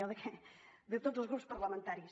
o de tots els grups parlamentaris